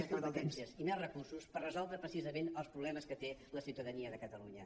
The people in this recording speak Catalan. més competències i més recursos per resoldre precisament els problemes que té la ciutadania de catalunya